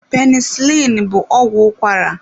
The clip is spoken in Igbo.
Penisilini bụ ọgwụ ụkwara.